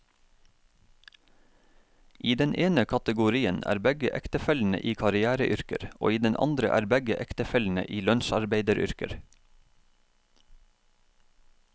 I den ene kategorien er begge ektefellene i karriereyrker, og i den andre er begge ektefellene i lønnsarbeideryrker.